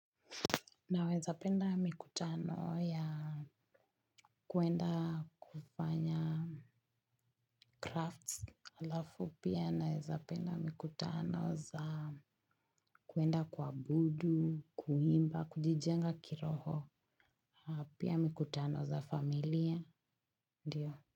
Naweza penda mikutano ya kuenda kufanya Crafts alafu pia naweza penda mikutano za kuenda kuabudu kuimba kujijenga kiroho. Pia mikutano za familia ndiyo.